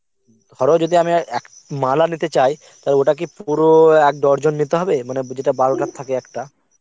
ধরো যদি আমি আর~ এক মালা নিতে চাই তাহলে ওটা কি পুরো এক ডজন নিতে হবে মানে যেটা বারোটা থাকে একটা